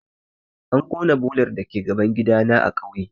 An ƙona bolar dake gaban gidana na kauye